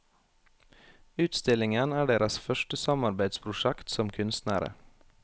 Utstillingen er deres første samarbeidsprosjekt som kunstnere.